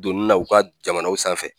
Donnina u ka jamanaw sanfɛ